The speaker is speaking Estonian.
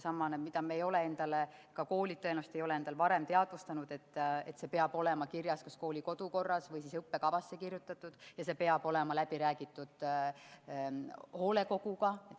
See on see, mida me ei ole endale – ka koolid tõenäoliselt ei ole – varem teadvustanud: distantsõppe võimalus peab olema kirjas kas kooli kodukorras või õppekavas ja see peab olema läbi räägitud hoolekoguga.